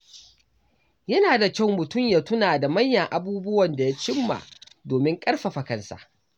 Yana da kyau mutum ya tuna da manyan abubuwan da ya cimma domin ƙarfafa kansa.